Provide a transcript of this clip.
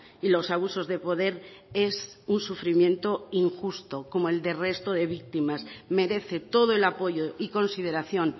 y los abusos de poder es un sufrimiento injusto como el del resto de víctimas merece todo el apoyo y consideración